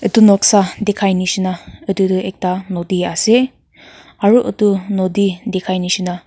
edu noksa dikhai nishi na edu ekta nodi ase ase aro edu nodi dikhai nishina.